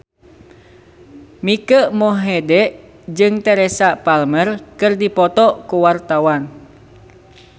Mike Mohede jeung Teresa Palmer keur dipoto ku wartawan